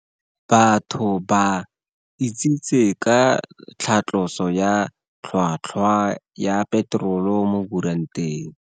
Batho ba Itsitse ka tlhatloso ya tlhwatkhwa ya peterole mo kuranteng.